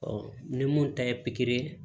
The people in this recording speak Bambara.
ni mun ta ye pikiri ye